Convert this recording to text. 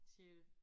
Sjette